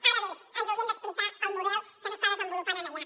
ara bé ens haurien d’explicar el model que s’està desenvolupant allà